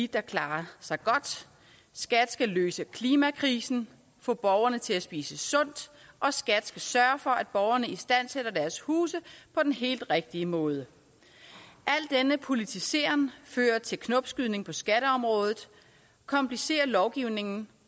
der klarer sig godt skat skal løse klimakrisen få borgerne til at spise sundt og skat skal sørge for at borgerne istandsætter deres huse på den helt rigtige måde al denne politisering fører til knopskydning på skatteområdet komplicerer lovgivningen